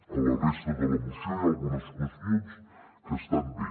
a la resta de la moció hi ha algunes qüestions que estan bé